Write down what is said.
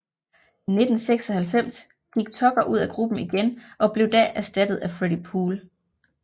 I 1996 gik Tucker ud af gruppen igen og blev da erstattet af Freddi Poole